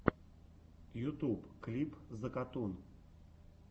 ютуб клип закатун